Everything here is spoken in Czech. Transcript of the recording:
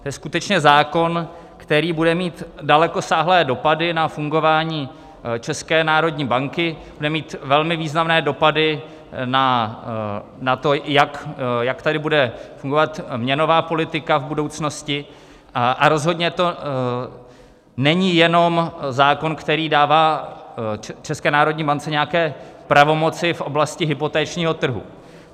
To je skutečně zákon, který bude mít dalekosáhlé dopady na fungování České národní banky, bude mít velmi významné dopady na to, jak tady bude fungovat měnová politika v budoucnosti, a rozhodně to není jenom zákon, který dává České národní bance nějaké pravomoci v oblasti hypotečního trhu.